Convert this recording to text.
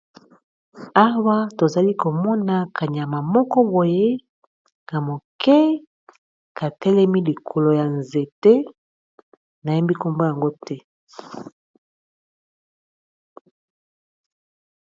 awa tozali komona kanyama moko boye na moke katelemi likolo ya nzete nayembi nkombo yango te